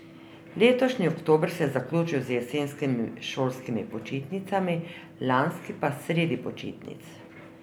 Letošnji oktober se je zaključil z jesenskimi šolskimi počitnicami, lanski pa sredi počitnic.